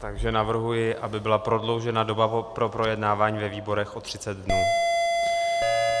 Takže navrhuji, aby byla prodloužena doba pro projednávání ve výborech o 30 dnů.